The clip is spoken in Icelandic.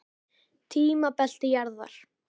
Tímabelti jarðar.